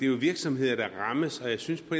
jo virksomheder der rammes og jeg synes på